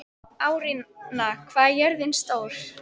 Árnína, hvað er jörðin stór?